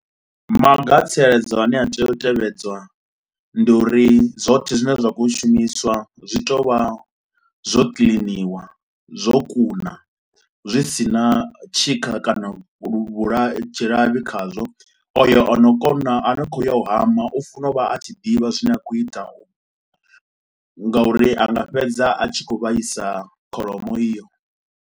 Maga a tsireledzo ane a tea u tevhedzwa ndi uri zwoṱhe zwine zwa khou ua u shumiswa zwi tea u vha zwo kiliniwa, zwo kuna, zwi si na tshikha kana luvhola tshilavhi khazwo. O yo o no kona ano kho ya u hama u funa u vha a tshi ḓivha zwine a khou ita u, ngauri anga fhedza a tshi khou vhaisa kholomo iyo.